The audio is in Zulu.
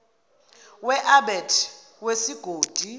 we abet wesigodi